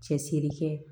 Cɛsiri kɛ